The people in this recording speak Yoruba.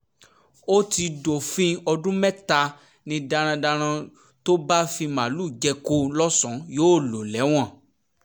ó ti dófin ọdún mẹ́ta ni darandaran tó bá fi màálùú jẹko lọ́sùn yóò lò lẹ́wọ̀n